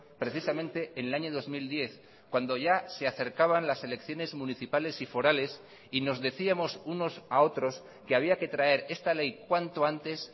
precisamente en el año dos mil diez cuando ya se acercaban las elecciones municipales y forales y nos decíamos unos a otros que había que traer esta ley cuanto antes